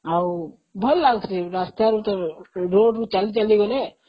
ଆଉ ଭଲ ଲାଗୁଛି ରୋଡ଼ ରୁ ଚାଲି ଚାଲି ଗଲେ